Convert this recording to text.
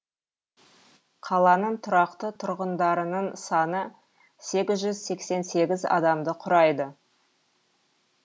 қаланың тұрақты тұрғындарының саны сегіз жүз сексен сегіз адамды құрайды